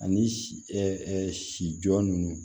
Ani si ɛ si jɔ ninnu